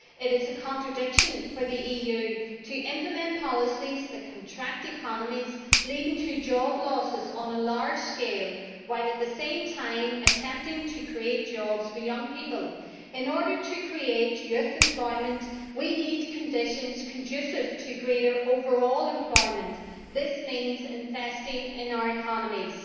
It is a contradiction for the EU to implement policies that contract economies, leading to job losses on a large scale, while at the same time attempting to create jobs for young people. In order to create youth employment, we need conditions conducive to greater overall employment. This means investing in our economies.